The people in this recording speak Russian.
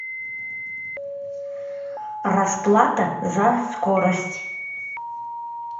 расплата за скорость